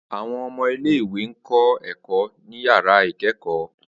Awọn ọmọ ile-iwe n kọ ẹkọ ni yara ikẹkọ.